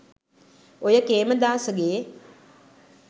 ඔය කේමදාසගේ